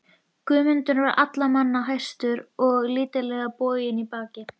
Guðmundur var allra manna hæstur en lítillega boginn í baki.